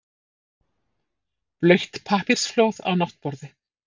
Blautt pappírsflóð á náttborði.